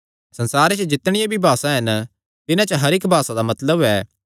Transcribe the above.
संसारे च जितणियां भी भासा हन तिन्हां च हर इक्की भासा दा मतलब ऐ